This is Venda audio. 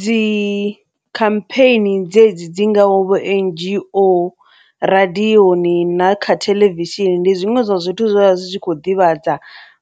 Dzikhampheni dzedzi dzi ngaho vho N_G_O radioni na kha theḽevishini ndi zwiṅwe zwa zwithu zwa zwi tshi kho ḓivhadza